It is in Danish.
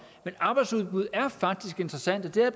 men arbejdsudbuddet er faktisk interessant og det er